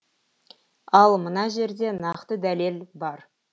ал мына жерде нақты дәлел бар